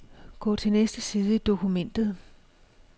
Gå til næste side i dokumentet.